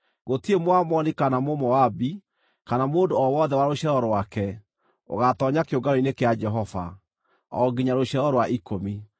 Gũtirĩ Mũamoni kana Mũmoabi, kana mũndũ o wothe wa rũciaro rwake, ũgaatoonya kĩũngano-inĩ kĩa Jehova, o nginya rũciaro rwa ikũmi.